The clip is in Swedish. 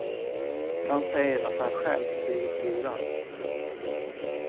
Han säger att han själv blivit lurad.